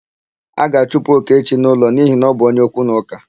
A ga-achụpụ Okechi n'ụlọ n'ihi na ọ bụ onye okwu na ụka.